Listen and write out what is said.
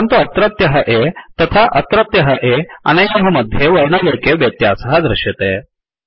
परन्तु अत्रत्यः A तथा अत्रत्यः A अनयोः मध्ये वर्णलेखे व्यत्यासः दृश्यते